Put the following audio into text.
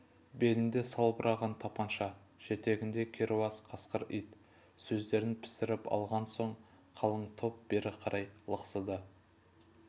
белінде салбыраған тапанша жетегінде керауыз қасқыр ит сөздерін пісіріп алған соң қалың топ бері қарай лықсыды